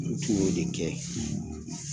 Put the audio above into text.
N tun y'o de kɛ